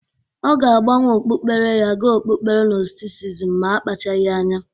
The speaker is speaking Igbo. Ọ ga-agbanwe okpukpere ya ga okpukpere gnostisisim ma akpachagị anya.